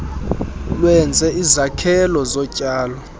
lwenze izakhelo zotyalo